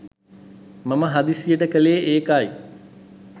මම හදිසියට කළේ ඒකයි.